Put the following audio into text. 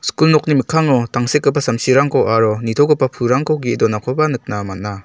kul nokni mikkango tangsekgipa samsirangko aro nitogipa pulrangko ge·e donakoba nikna man·a.